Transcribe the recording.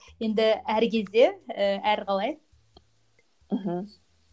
енді әр кезде і әр қалай мхм